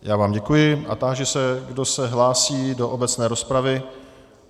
Já vám děkuji a táži se, kdo se hlásí do obecné rozpravy.